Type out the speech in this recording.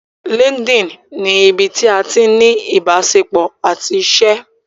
Linkedin ni ibí tí a ti ní ni ìbáṣepọ̀ àti iṣé.